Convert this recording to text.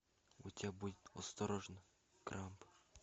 у тебя будет осторожно грамп